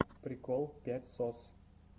прикол пять сос